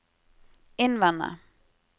innvende